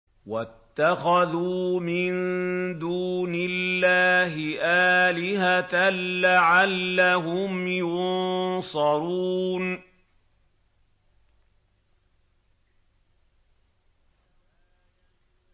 وَاتَّخَذُوا مِن دُونِ اللَّهِ آلِهَةً لَّعَلَّهُمْ يُنصَرُونَ